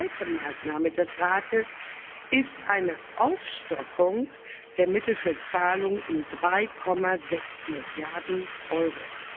Die zweite Maßnahme des Rates ist eine Aufstockung der Mittel für Zahlungen um 3,6 Milliarden Euro.